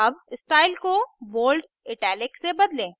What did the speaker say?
अब स्टाइल को bold italic से bold